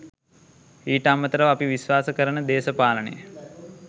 ඊට අමතරව අපි විශ්වාස කරන දේශපාලනය